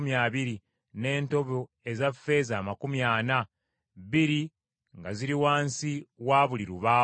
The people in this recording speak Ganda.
n’entobo eza ffeeza amakumi ana, bbiri nga ziri wansi wa buli lubaawo.